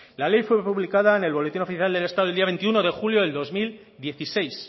la ley fue publicada en el boletín oficial del estado el día veintiuno de julio del dos mil dieciséis